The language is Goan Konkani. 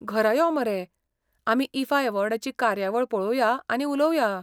घरा यो मरे, आमी ईफा अवॉर्डांची कार्यावळ पळोवया आनी उलोवया.